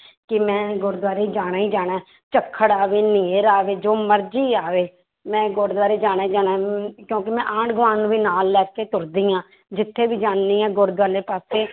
ਕਿ ਮੈਂ ਗੁਰਦੁਆਰੇ ਜਾਣਾ ਹੀ ਜਾਣਾ ਹੈ ਝੱਖੜ ਆਵੇ ਹਨੇਰ ਆਵੇ ਜੋ ਮਰਜ਼ੀ ਆਵੇ, ਮੈਂ ਗੁਰਦੁਆਰੇ ਜਾਣਾ ਹੀ ਜਾਣਾ ਹੈ ਅਮ ਕਿਉਂਕਿ ਮੈਂ ਆਂਢ ਗੁਆਂਢ ਨੂੰ ਵੀ ਨਾਲ ਲੈ ਕੇ ਤੁਰਦੀ ਹਾਂ ਜਿੱਥੇ ਵੀ ਜਾਂਦੀ ਹਾਂ ਵਾਲੇ ਪਾਸੇ